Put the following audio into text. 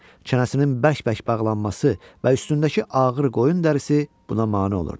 Çənəsinin bərk-bərk bağlanması və üstündəki ağır qoyun dərisi buna mane olurdu.